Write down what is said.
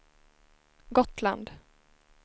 Gotland